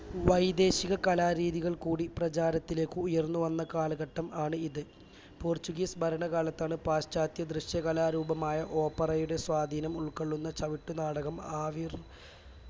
വൈദേശിക കലാരീതികൾ കൂടി പ്രചാരത്തിലേക്ക് ഉയർന്നുവന്ന കാലഘട്ടം ആണ് ഇത് portuguese ഭരണ കാലത്താണ് പാശ്ചാത്യ ദൃശ്യകലാരൂപമായ opera യുടെ സ്വാധീനം ഉൾക്കൊള്ളുന്ന ചവിട്ടുനാടകം ആവിർ